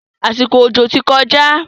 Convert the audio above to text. Àsìkò òjò ti kọjá.